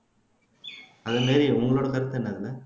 hello Mary உங்களோட கருத்து என்னங்க